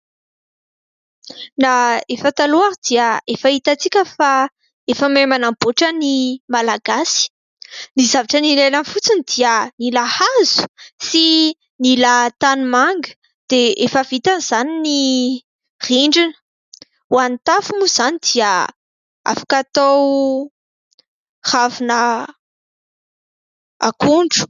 Na efa taloha ary dia efa hitantsika fa efa mahay manamboatra ny Malagasy. Ny zavatra ilaina fotsiny dia mila hazo sy ny tanimanga dia efa vita na izany ny rindrina, ho an'ny tafo moa izany dia afaka hatao ravina akondro.